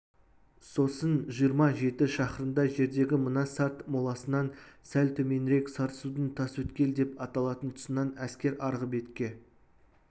сосын жиырма жеті шақырымдай жердегі мына сарт моласынан сәл төменірек сарысудың тасөткел деп аталатын тұсынан әскер арғы бетке